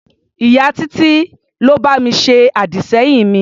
Ìyá Títí ló bá mi ṣe àdì-sẹ́yìn mi.